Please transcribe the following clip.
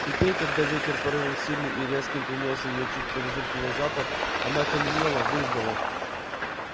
теперь когда ветер порывом сильным и резким принёс её чутье подозрительный запах она окаменела выждала